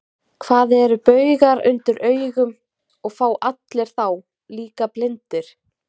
Hvað eru baugar undir augum, og fá allir þá, líka blindir?